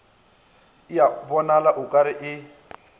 bonala o ka re e